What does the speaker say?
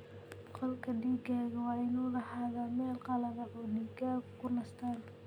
Qolka digaaga waa inuu lahaadaa meel qalalan oo digaaggu ku nastaan.